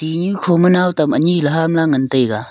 tihnu khoma naw tam ani ham la ngan taiga.